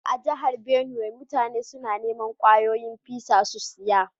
A'jihar Benue, mutane suna niman kwayoyin fisa su siya.